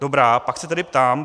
Dobrá, pak se tedy ptám: